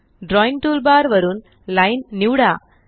drawing toolbar वरूनLine निवडा